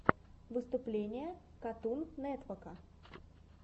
выступление катун нетвока